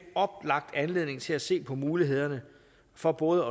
oplagt anledning til at se på mulighederne for både